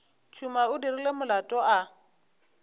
tšhuma o dirile molato a